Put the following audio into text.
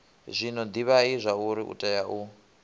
zwino divhai zwauri utea u